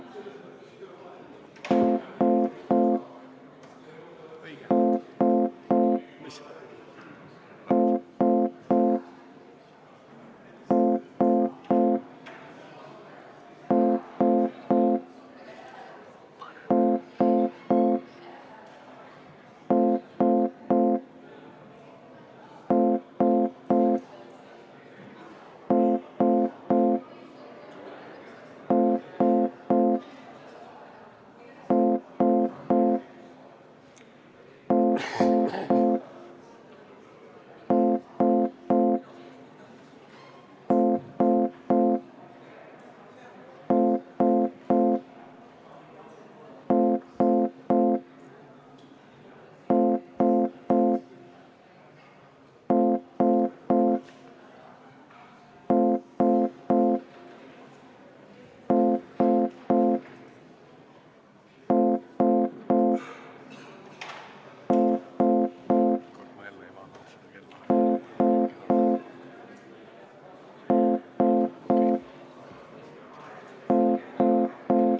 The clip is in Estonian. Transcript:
Nii, auväärsed!